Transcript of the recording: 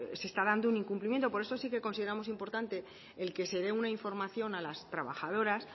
se está dando un incumplimiento por eso sí que consideramos importante el que se dé una información a las trabajadoras